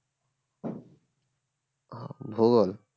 ভূগোল